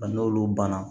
Nka n'olu banna